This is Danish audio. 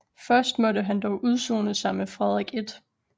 Først måtte han dog udsone sig med Frederik 1